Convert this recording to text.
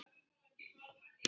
Þinn, Halldór Geir.